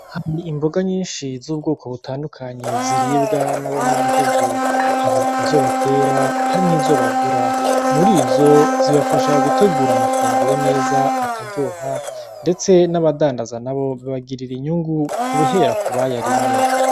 Hari Imboga zitandukanye ziribwa n’abanyagihugu , hari izo batera hari n’izo bagura. Muri izo zibafasha gutegura amafunguro neza akaryoha ndetse n’abadandaza nabo bibagirira inyungu guhera kubayarimye.